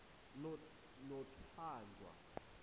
nothanjwa